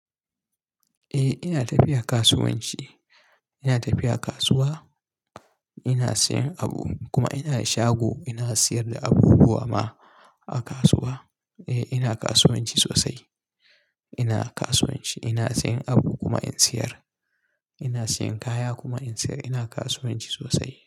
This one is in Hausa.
Eh ina tafiya kasuwanci, ina tafiya kasuwa ina siyan abu kuma ina da shago ina siyar da abubuwa ma a kasuwa. Eh ina kasuwanci sosai. Ina kasuwanci ina siyan abu kuma in siyar. Ina siyan kaya kuma in siyar. Ina kasuwanci sosai.